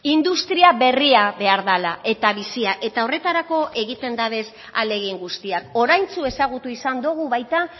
industria berria behar dela eta bizia eta horretarako egiten dabez ahalegin guztiak oraintxu ezagutu izan dugu baita